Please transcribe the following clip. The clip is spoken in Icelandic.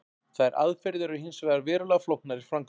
Þær aðferðir eru hins vegar verulega flóknar í framkvæmd.